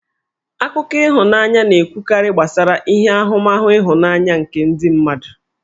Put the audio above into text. Akụkọ ihụnanya na-ekwukarị gbasara ihe ahụmahụ ịhụnanya nke ndị mmadụ.